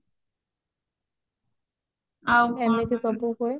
ଆଉ କଣ ଗୋଟେ ସବୁ ହୁଏ